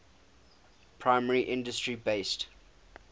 primary industry based